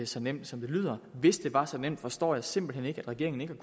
så nemt som det lyder hvis det var så nemt forstår jeg simpelt hen ikke at regeringen ikke